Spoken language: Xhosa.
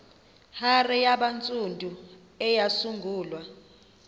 hare yabantsundu eyasungulwa